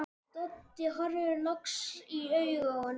Doddi horfir loks í augu honum, alvaran uppmáluð.